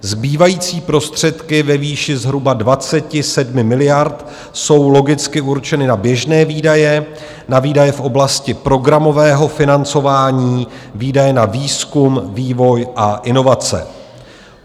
Zbývající prostředky ve výši zhruba 27 miliard jsou logicky určeny na běžné výdaje, na výdaje v oblasti programového financování, výdaje na výzkum, vývoj a inovace.